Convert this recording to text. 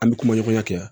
An bɛ kuma ɲɔgɔnya kɛ